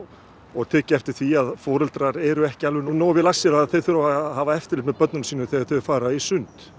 og tekið eftir því að foreldrar eru ekki nógu vel að sér um að þau þurfi að hafa eftirlit með börnum sínum þegar þau fara í sund